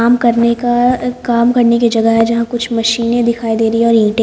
काम करने का काम करने की जगह है यहां कुछ मशीनें दिखाई दे रही और ईंटें--